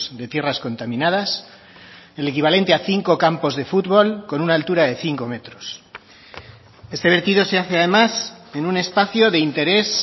de tierras contaminadas el equivalente a cinco campos de futbol con una altura de cinco metros este vertido se hace además en un espacio de interés